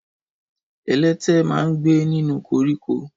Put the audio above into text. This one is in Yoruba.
Ẹlẹtẹ ma ń gbé nínú koríko.